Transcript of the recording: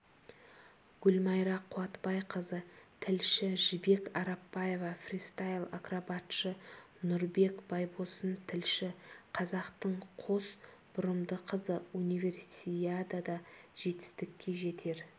гүлмайра қуатбайқызы тілші жібек арапбаева фристайл-акробатшы нұрбек байбосын тілші қазақтың қос бұрымды қызы универсиадада жетістікке жетер